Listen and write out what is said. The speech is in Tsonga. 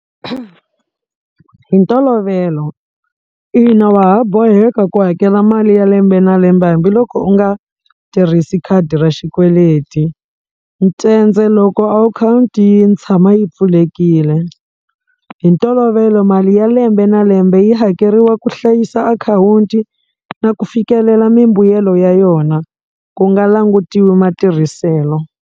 Hi ntolovelo ina wa ha boheka ku hakela mali ya lembe na lembe hambiloko u nga tirhisi khadi ra xikweleti loko akhawunti yi tshama yi pfulekile hi ntolovelo mali ya lembe na lembe yi hakeriwa ku hlayisa akhawunti na ku fikelela mimbuyelo ya yona ku nga langutiwi matirhiselo.